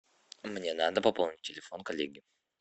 мне надо пополнить телефон коллеги